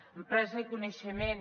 empresa i coneixement